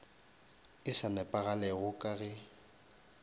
e sa nepagalago ka ge